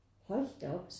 Hold da op